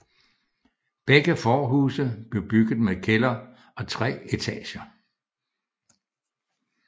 Begge forhuse blev bygget med kælder og tre etager